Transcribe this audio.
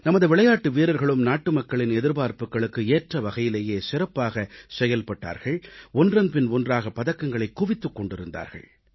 நமது விளையாட்டு வீரர்களும் நாட்டு மக்களின் எதிர்பார்ப்புகளுக்கு ஏற்ற வகையிலேயே சிறப்பாகச் செயல்பட்டார்கள் ஒன்றன்பின் ஒன்றாக பதக்கங்களைக் குவித்துக் கொண்டிருந்தார்கள்